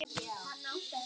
Þetta er allt rangt.